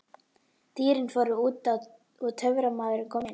Dýrin fóru út og Töframaðurinn kom inn.